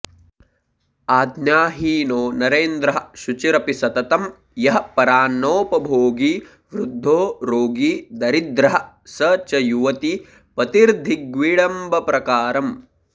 आज्ञाहीनो नरेन्द्रः शुचिरपि सततं यः परान्नोपभोगी वृद्धो रोगी दरिद्रः स च युवतिपतिर्धिग्विडम्बप्रकारम्